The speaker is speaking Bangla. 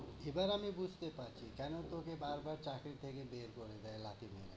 এ কথা আমি বুঝতে পারছি, কেনো তোকে বারবার চাকরি থেকে বের করে দেয় লাথি দিয়ে।